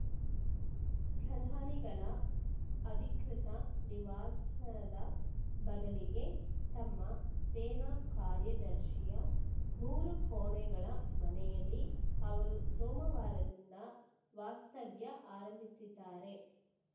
ಪ್ರಧಾನಿಗಳ ಅಧಿಕೃತ ನಿವಾಸದ ಬದಲಿಗೆ ತಮ್ಮ ಸೇನಾ ಕಾರ್ಯದರ್ಶಿಯ ಮೂರು ಕೋಣೆಗಳ ಮನೆಯಲ್ಲಿ ಅವರು ಸೋಮವಾರದಿಂದ ವಾಸ್ತವ್ಯ ಆರಂಭಿಸಿದ್ದಾರೆ